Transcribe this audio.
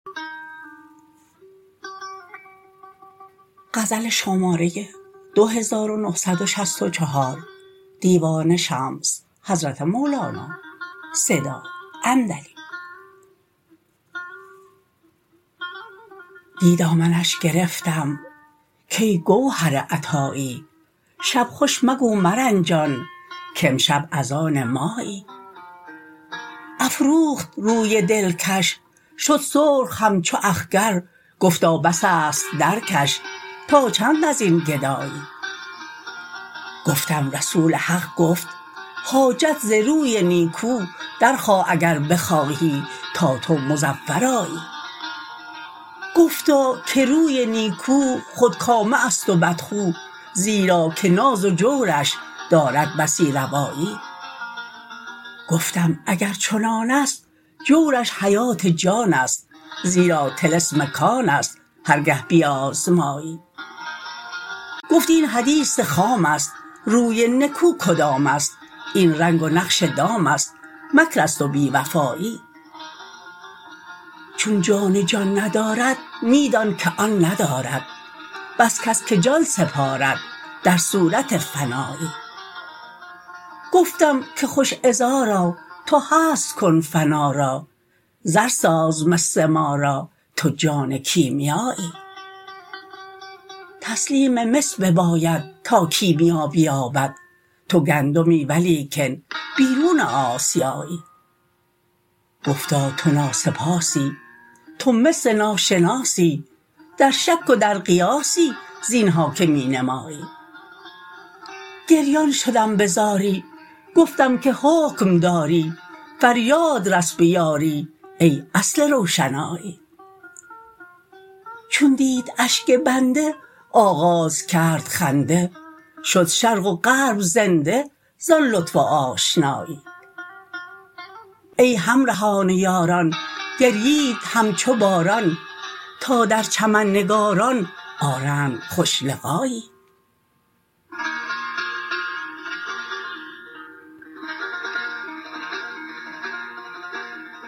دی دامنش گرفتم کای گوهر عطایی شب خوش مگو مرنجان کامشب از آن مایی افروخت روی دلکش شد سرخ همچو اخگر گفتا بس است درکش تا چند از این گدایی گفتم رسول حق گفت حاجت ز روی نیکو درخواه اگر بخواهی تا تو مظفر آیی گفتا که روی نیکو خودکامه است و بدخو زیرا که ناز و جورش دارد بسی روایی گفتم اگر چنان است جورش حیات جان است زیرا طلسم کان است هر گه بیازمایی گفت این حدیث خام است روی نکو کدام است این رنگ و نقش دام است مکر است و بی وفایی چون جان جان ندارد می دانک آن ندارد بس کس که جان سپارد در صورت فنایی گفتم که خوش عذارا تو هست کن فنا را زر ساز مس ما را تو جان کیمیایی تسلیم مس بباید تا کیمیا بیابد تو گندمی ولیکن بیرون آسیایی گفتا تو ناسپاسی تو مس ناشناسی در شک و در قیاسی زین ها که می نمایی گریان شدم به زاری گفتم که حکم داری فریاد رس به یاری ای اصل روشنایی چون دید اشک بنده آغاز کرد خنده شد شرق و غرب زنده زان لطف آشنایی ای همرهان و یاران گریید همچو باران تا در چمن نگاران آرند خوش لقایی